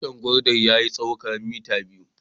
Tushin gwandan ya yi tsawo kaman mitar biyar.